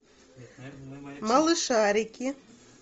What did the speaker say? малышарики